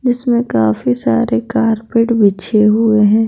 जिसमें काफी सारे बिछे हुए हैं।